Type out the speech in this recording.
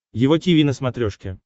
его тиви на смотрешке